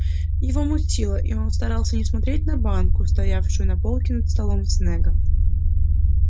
его мутило и он старался не смотреть на банку стоявшую на полке над столом снегга